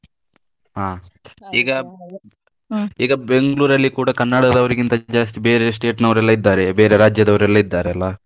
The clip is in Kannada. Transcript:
ಹ ಈಗ ಈಗ Bengaluru ಕೂಡ ಕನ್ನಡದವರಿಗಿಂತ ಜಾಸ್ತಿ ಬೇರೆ state ನವ್ರೆಲ್ಲ ಇದ್ದಾರೆ ಬೇರೆ ರಾಜ್ಯದವರು ಎಲ್ಲಾ ಇದ್ದಾರಲ್ಲಾ.